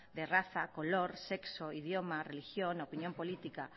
de raza color sexo idioma religión opinión política